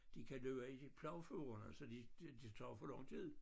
De kan løbe i plovfurerne så de det tager for lang tid